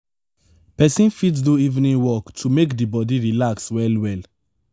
person fit do evening walk to make di body relax well well